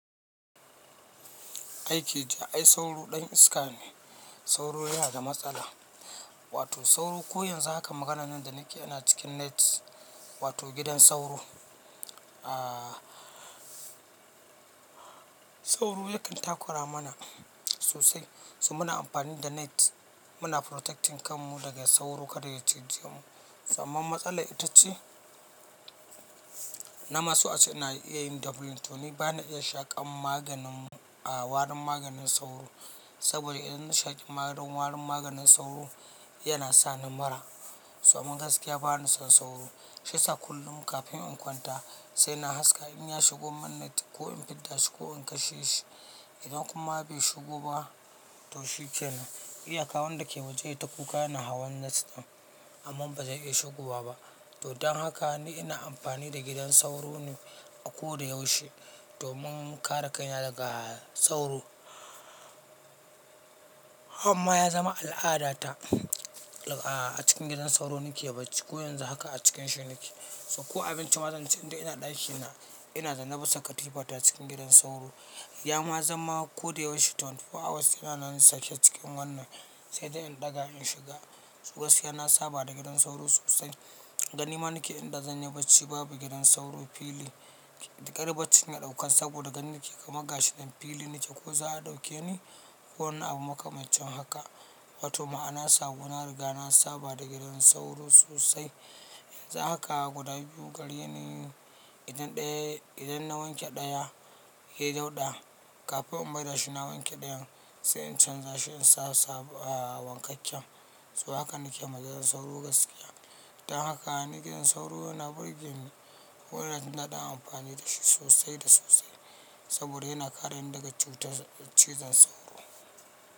Aiki ja, ai sauro ɗan iska ne. Sauro yana da matsala, wato sauro ko yanzu haka maganan nan da nake ina cikin net wato gidan sauro. Aaa. Sauro yakan takura mana sosai so muna amfani da net muna protecting kan mu daga sauro kada ya cije mu so amman matsalar ita ce. Na ma so ace ina iya yin doubling to ni bana iya shaƙan maganin a warin maganin sauro, saboda idan na shaƙi marin warin maganin sauro yana sani mura. So amman gaskiya bani son sauro, shi yasa kullum kafin in kwanta sai na haska in ya shigo mun net ko in fidda shi ko in kashe shi. Idan kuma bai shigo ba to shi kenan. Iyaka wanda ke waje yai ta kuka yana hawan net ɗin amma ba zai iya shigowa ba. To don haka ni ina amfani da gidan sauro ne a ko dayaushe domin kare kaina daga sauro. Amma ya zama al'adata a cikin gidan sauro nake bacci. Ko yanzu haka a cikin shi nike. So ko abinci ma zan ci inda ina ɗakin na ina zanne bisa katifa ta cikin gidan sauro. Ya ma zama ko da yaushe 24 hours yana nan sake cikin wannan sai dai in ɗaga in shiga. Su gaskiya yana saba da gidan sauro sosai. Gani ma nake idan zan yi bacci babu gidan sauro fili. Kar bacci na ɗaukan saboda gani ke gama gashi. Dan fili ne nike ko za a ɗauke ni ko wani abu makamancin haka. Wato ma'ana sabo na riga na saba da gidan sauro sosai. Yanzu haka guda biyu gare ni. Idan ɗaya idan na wanke ɗaya yai dauɗa kafin in maida shi na wanke ɗayan. Sai in canja in sa sabo a wankakken so haka nike ma gidan sauro gaskiya. Don haka in gidan sauro yana burge ni. Wannan naɗin amfani da shi sosai da sosai saboda yana kare ni daga cutar cizon sauro.